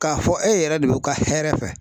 K'a fɔ e yɛrɛ de b'u ka hɛrɛ fɛ.